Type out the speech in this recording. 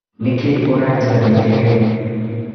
Nĩkĩ ũranjabithia rĩu